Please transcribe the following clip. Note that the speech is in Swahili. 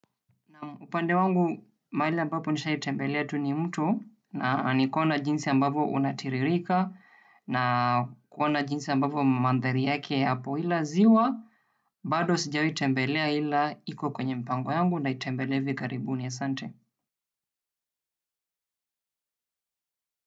Upande wangu mahali ambapo nishaitembelea tu ni mtu na nikaona jinsi ambavyo unatiririka na kuona jinsi ambapo mandhari yake yapo ila ziwa, bado sijawahi itembelea ila iko kwenye mpango yangu nitaitembelea hivi karibuni. Asante.